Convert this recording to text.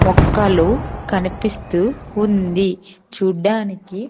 మొక్కలు కనిపిస్తూ ఉంది చూడ్డానికి.